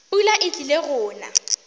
pula e tlile go na